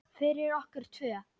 Fyrir okkur tvö.